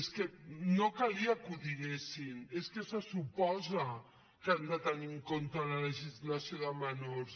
és que no calia que ho diguessin és que se suposa que han de tenir en compte la legislació de menors